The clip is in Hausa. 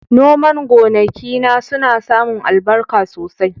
Noman gonakina suna samun albarka sosai.